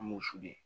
An b'o f'u ye